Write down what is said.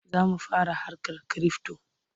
Za mu fara harkar kirifto.